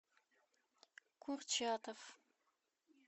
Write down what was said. курчатов